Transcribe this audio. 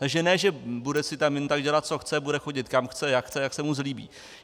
Takže ne že bude si tam jen tak dělat, co chce, bude chodit kam chce, jak chce, jak se mu zlíbí.